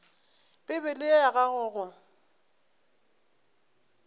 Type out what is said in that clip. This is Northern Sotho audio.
bibele ye ya gago go